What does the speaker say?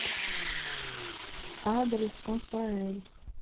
адрес конфаэль